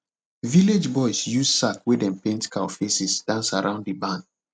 village boys use sack wey dem paint cow faces dance around the barn